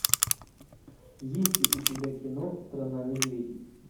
есть ли у тебя кино страна медведей